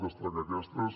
destacar aquestes